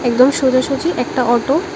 একদম সোজাসুজি একটা অটো ।